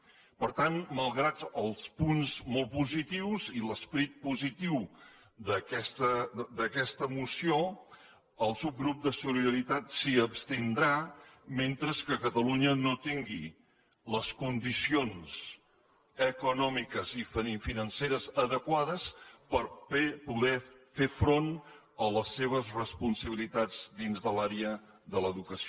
per tant malgrat els punts molt positius i l’esperit positiu d’aquesta moció el subgrup de solidaritat s’hi abstindrà mentre que catalunya no tingui les condicions econòmiques i financeres adequades per poder fer front a les seves responsabilitats dins de l’àrea de l’educació